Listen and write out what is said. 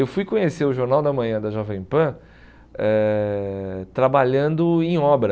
Eu fui conhecer o Jornal da Manhã da Jovem Pan eh trabalhando em obra.